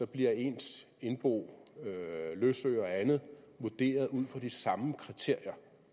bliver ens indbo løsøre og andet vurderet ud fra de samme kriterier